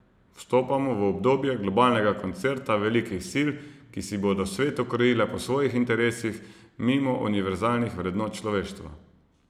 Vstopamo v obdobje globalnega koncerta velikih sil, ki si bodo svet ukrojile po svojih interesih mimo univerzalnih vrednot človeštva.